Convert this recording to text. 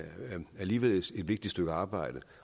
alligevel et vigtigt stykke arbejde